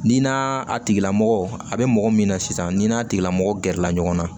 Ni na a tigila mɔgɔ a bɛ mɔgɔ min na sisan ni n'a tigilamɔgɔ gɛrɛla ɲɔgɔn na